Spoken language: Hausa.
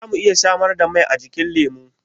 Za mu iya samar da mai ajikin lemu?